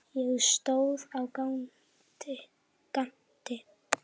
Ég stóð á gati.